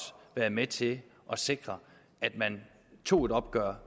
med til at sikre at man tog et opgør